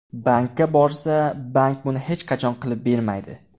Bankka borsa, bank buni hech qachon qilib bermaydi.